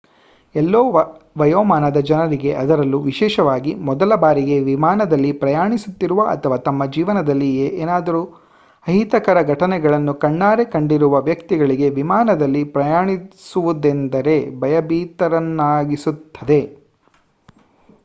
ಎಲ್ಲಾ ವಯೋಮಾನದ ಜನರಿಗೆ ಅದರಲ್ಲೂ ವಿಶೇಷವಾಗಿ ಮೊದಲ ಬಾರಿಗೆ ವಿಮಾನದಲ್ಲಿ ಪ್ರಯಾಣಿಸುತ್ತಿರುವ ಅಥವಾ ತಮ್ಮ ಜೀವನದಲ್ಲಿ ಏನಾದರೂ ಅಹಿತಕರ ಘಟನೆಗಳನ್ನು ಕಣ್ಣಾರೆ ಕಂಡಿರುವ ವ್ಯಕ್ತಿಗಳಿಗೆ ವಿಮಾನದಲ್ಲಿ ಪ್ರಯಾಣಿಸುವುದೆಂದರೆ ಭಯಭೀತರನ್ನಾಗಿಸುತ್ತದೆ